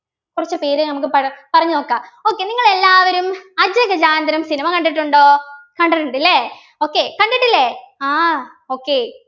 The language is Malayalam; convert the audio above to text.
കുറച്ച് പേര് നമ്മക്ക് പറ പറഞ്ഞു നോക്കാം okay നിങ്ങളെല്ലാവരും അജഗജാന്തരം cinema കണ്ടിട്ടുണ്ടോ കണ്ടിട്ടുണ്ട് ല്ലേ okay കണ്ടിട്ടില്ലേ ആഹ് okay